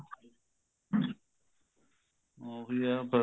ਉਹੀ ਏ ਬੱਸ